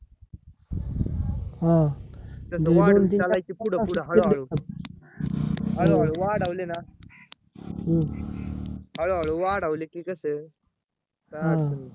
वाढून चालायची पुढे पुढे हळू हळू हळू हळू वाढावले ना हळू हळू वाढावले की कस?